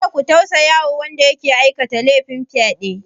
Kada ku tausaya wa wanda ya aikata lefin fyaɗe!